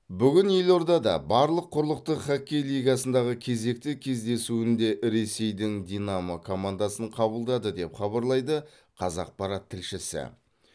бүгін елордада барлық құрлықтық хоккей лигасындағы кезекті кездесуінде ресейдің динамо командасын қабылдады деп хабарлайды қазақпарат тілшісі